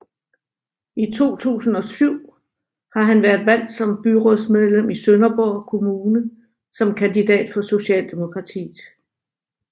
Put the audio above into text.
Siden 2007 har han været valgt som byrådsmedlem i Sønderborg Kommune som kandidat for Socialdemokratiet